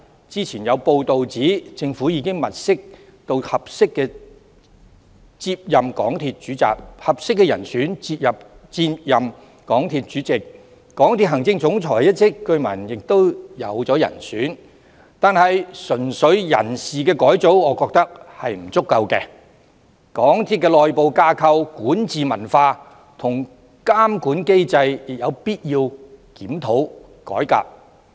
之前有報道指出政府已物色合適的人選接任港鐵主席，港鐵行政總裁一職據聞也已有人選，但我認為純粹人事改組並不足夠，港鐵的內部架構、管治文化及監管機制亦有必要作檢討和改革。